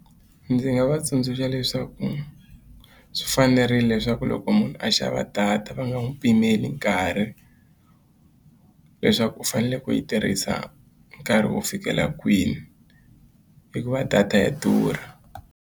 Ndzi nga va tsundzuxa leswaku swi fanerile leswaku loko munhu a xava data va nga n'wi pimeli nkarhi leswaku u faneleke ku yi tirhisa nkarhi wo fikela kwini hikuva data ya durha.